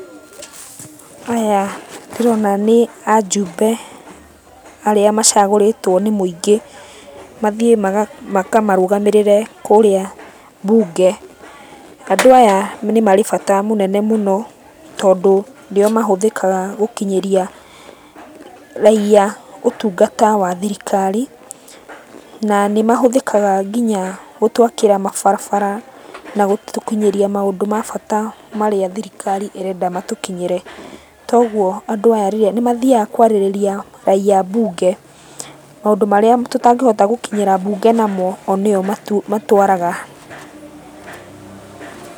Aya ndĩrona nĩ ajumbe arĩa macagũrĩtwo nĩ mũingĩ, mathiĩ makamarũgamĩrĩre kũrĩa mbunge. Andũ aya nĩ marĩ bata mũnene mũno, tondũ nĩo mahũthĩkaga gũkinyĩria raiya ũtungata wa thirikari. Na nĩmahũthĩkaga kinya gũtwakĩra mabarabara na gũtũkinyĩria maũndũ ma bata marĩa thirikari ĩrenda matũkinyĩre. Togũo andũ aya rĩrĩa, nĩmathiaga kwarĩrĩria raiya mbunge, maũndũ marĩa tũtangĩhota gũkinyĩra mbunge namo, o nĩo matwaraga. Pause